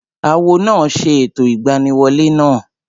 Awo náà ṣe ẹ̀tọ́ ìgbaniwolẹ́ náà